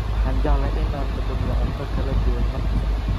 Waxaan jeclahay in aan dhadhamiyo cunto kala duwan mar kasta.